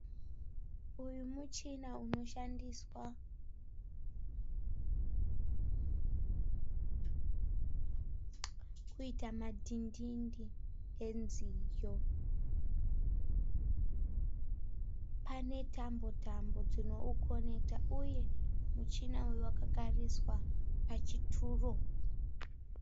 Uyu muchina unoshandiswa kuita madhidhindi enziyo. Pane tambo tambo dzinoukonekita uye muchina uyu wakagariswa pachituro.